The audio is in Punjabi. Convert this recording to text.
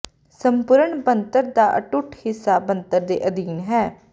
ਸੰਪੂਰਣ ਬਣਤਰ ਦਾ ਅਟੁੱਟ ਹਿੱਸਾ ਬਣਤਰ ਦੇ ਅਧੀਨ ਹੈ